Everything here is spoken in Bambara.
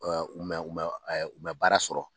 u mɛ u mɛ u mɛ baara sɔrɔ.